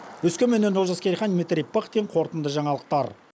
өскеменнен олжас керейхан дмитрий пыхтин қорытынды жаңалықтар